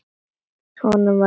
Honum var spurn.